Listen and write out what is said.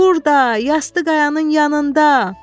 Burda, yastı qayanın yanında.